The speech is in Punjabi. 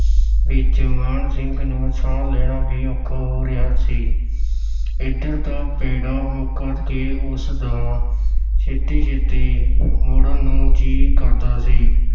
ਵਿੱਚ ਮਾਨ ਸਿੰਘ ਨੂੰ ਸਾਹ ਲੈਣਾ ਵੀ ਔਖਾ ਹੋ ਰਿਹਾ ਸੀ ਇੱਧਰ ਦਾ ਪੈਂਡਾ ਮੁਕਾ ਕੇ ਉਸ ਦਾ ਛੇਤੀ-ਛੇਤੀ ਮੁੜਨ ਨੂੰ ਜੀ ਕਰਦਾ ਸੀ।